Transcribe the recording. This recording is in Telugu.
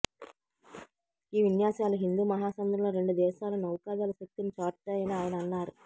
ఈ విన్యాసాలు హిందూ మహాసముద్రంలో రెండు దేశాల నౌకాదళ శక్తిని చాటుతాయని ఆయన అన్నారు